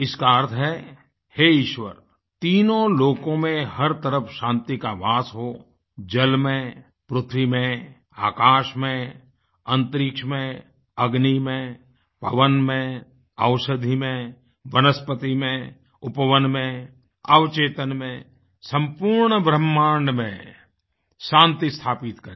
इसका अर्थ है हे ईश्वर तीनों लोकों में हर तरफ शांति का वास हो जल में पृथ्वी में आकाश में अंतरिक्ष में अग्नि में पवन में औषधि में वनस्पति में उपवन में अवचेतन में सम्पूर्ण ब्रह्मांड में शान्ति स्थापित करे